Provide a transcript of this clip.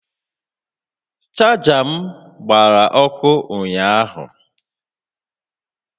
Chaja m gbara ọkụ ụnyaahụ